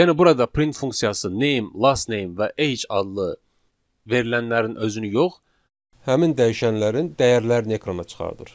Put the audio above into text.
Yəni burada print funksiyası Name, Lastname və Age adlı verilənlərin özünü yox, həmin dəyişənlərin dəyərlərini ekrana çıxardır.